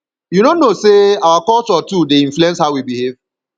you no know sey our culture too dey influence how we dey behave